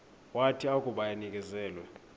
wathi akuba enikezelwe